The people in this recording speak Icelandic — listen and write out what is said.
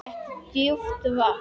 Þetta er djúpt vatn.